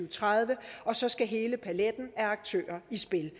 og tredive og så skal hele paletten af aktører i spil